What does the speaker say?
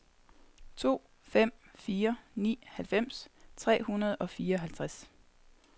to fem fire ni halvfems tre hundrede og fireoghalvtreds